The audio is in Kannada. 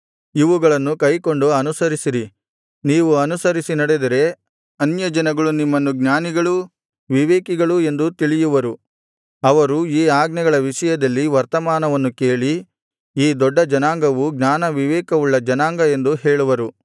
ಇವುಗಳನ್ನು ಕೈಕೊಂಡು ಅನುಸರಿಸಿರಿ ನೀವು ಅನುಸರಿಸಿ ನಡೆದರೆ ಅನ್ಯಜನಗಳು ನಿಮ್ಮನ್ನು ಜ್ಞಾನಿಗಳೂ ವಿವೇಕಿಗಳೂ ಎಂದು ತಿಳಿಯುವರು ಅವರು ಈ ಆಜ್ಞೆಗಳ ವಿಷಯದಲ್ಲಿ ವರ್ತಮಾನವನ್ನು ಕೇಳಿ ಈ ದೊಡ್ಡ ಜನಾಂಗವು ಜ್ಞಾನವಿವೇಕವುಳ್ಳ ಜನಾಂಗ ಎಂದು ಹೇಳುವರು